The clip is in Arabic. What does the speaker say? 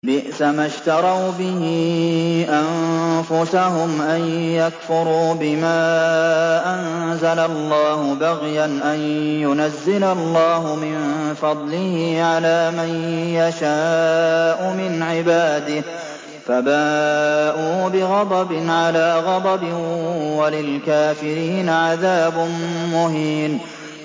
بِئْسَمَا اشْتَرَوْا بِهِ أَنفُسَهُمْ أَن يَكْفُرُوا بِمَا أَنزَلَ اللَّهُ بَغْيًا أَن يُنَزِّلَ اللَّهُ مِن فَضْلِهِ عَلَىٰ مَن يَشَاءُ مِنْ عِبَادِهِ ۖ فَبَاءُوا بِغَضَبٍ عَلَىٰ غَضَبٍ ۚ وَلِلْكَافِرِينَ عَذَابٌ مُّهِينٌ